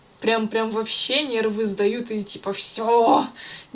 прям прям вообще нервы сдают и типа все